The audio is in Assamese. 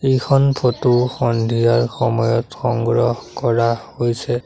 এইখন ফটো সন্ধিয়াৰ সময়ত সংগ্ৰহ কৰা হৈছে।